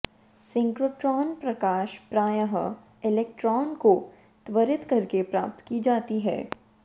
synchrotron प्रकाश प्रायः electron को त्वरित करके प्राप्त की जाती है